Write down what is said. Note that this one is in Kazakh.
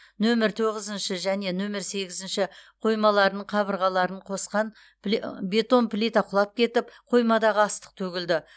нөмір тоғызыншы және нөмір сегізінші қоймаларының қабырғаларын қосқан пли бетон плита құлап кетіп қоймадағы астық төгілді